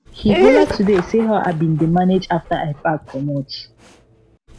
he holla today say how i bin dey manage after i pack comot